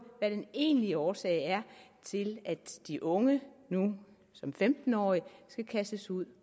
hvad den egentlige årsag er til at de unge nu som femten årige skal kastes ud